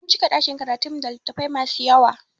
An cika ɗakin karatun mu da littafai masu yawa